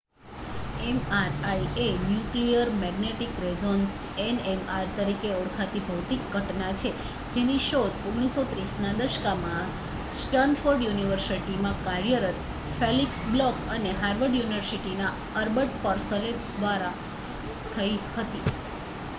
mri એ nuclear magnetic resonance nmr તરીકે ઓળખાતી ભૌતિક ઘટના છે જેની શોધ 1930ના દશકમાં સ્ટૅન્ફૉર્ડ યુનિવર્સિટીમાં કાર્યરત ફેલિક્સ બ્લૉક અને હાર્વર્ડ યુનિવર્સિટીના એડ્બર્ડ પર્સેલ દ્વારા થઈ હતી